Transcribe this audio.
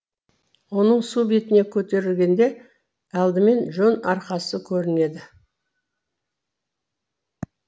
оның су бетіне көтерілгенде алдымен жон арқасы көрінеді